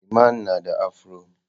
Iman na da afro.